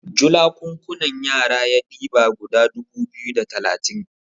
julakunkunan yara ya diba guda dubu biyu da talatin